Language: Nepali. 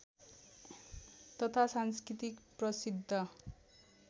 तथा सांस्कृतिक प्रसिद्ध